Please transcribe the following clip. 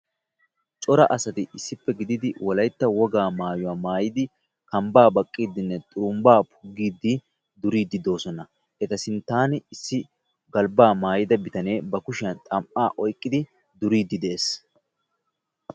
Cora asati issippe gididi wolaytta wogaa maayuwa maayidi kambbaa baqqiiddinne xurumbbaa puggiiddi duriiddi de'oosona. Eta sinttan issi galbbaa maayida bitanee ba kushiyan xam''aa oyqqidi duriiddi de'ees.